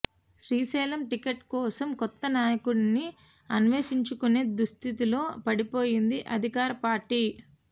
Srisailam ticket కోసం కొత్త నాయకుడిని అన్వేషించుకునే దుస్థితిలో పడిపోయింది అధికార పార్టీ